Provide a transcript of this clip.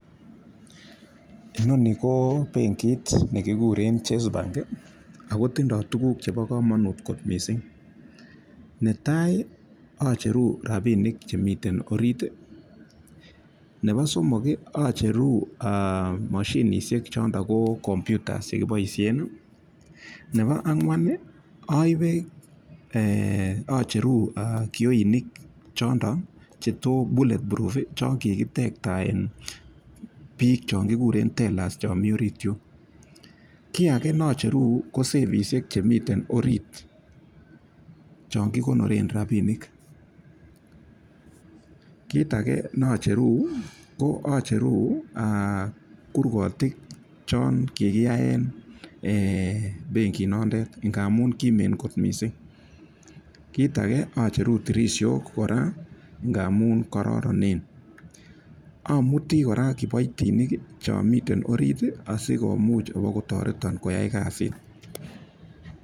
Inoni ko benkit nekigure chase bank ako tindoi tukuk chebo komanut kot mising. Netai acheru rapinik chemiten orit, nebo somok acheru moshinishek chondok ko computers chekiboishen. Nebo ang'wan aibe, acheru kioinik chotok che bullet proff chon kikitektaen biik chekiguren tellers cho mi orit yun. Kit age nacheru ko safishek chemiten orit chon kikonoren rapinik. Kit age nacherun, acheru kurgotik chon kikiaen benkinoton ngamun kimen kot mising. Kit age axheru tirishok kora amun kororonen. Amuti kora kiboitinik cho miten orit sibokotoreto.